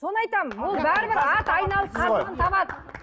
соны айтамын ол бәрібір ат айналып қазығын табады